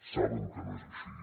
saben que no és així